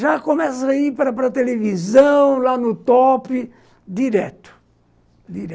Já começa a ir para para a televisão, lá no top, direto, dire